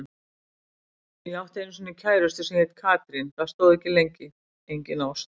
Ég átti einu sinni kærustu sem heitir Katrín, það stóð ekki lengi, engin ást.